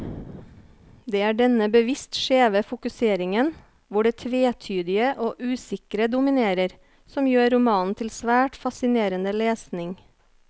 Det er denne bevisst skjeve fokuseringen, hvor det tvetydige og usikre dominerer, som gjør romanen til svært fascinerende lesning.